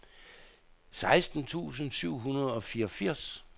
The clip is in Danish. seksten tusind syv hundrede og fireogfirs